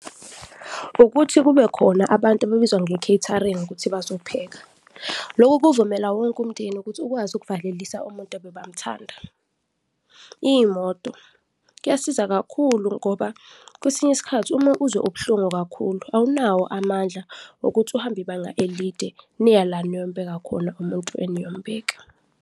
Ukuthi kube khona abantu ababizwa nge-catering ukuthi bazopheka, loku kuvumela wonke umndeni ukuthi ukwazi ukuvalelisa umuntu ebebamuthanda. Iy'moto, kuyasiza kakhulu ngoba kwesinye isikhathi uma uzwe ubuhlungu kakhulu, awunawo amandla wokuthi uhambe ibanga elide niya la niyombeka khona umuntu eniyombeka.